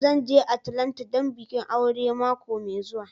Zan je Atlanta don bikin aure mako mai zuwa.